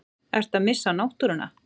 Ertu að missa náttúruna?